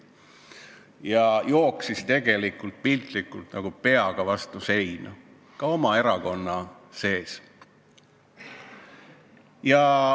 Tarmo Kõuts jooksis piltlikult öeldes peaga vastu seina, seda ka oma erakonna sees.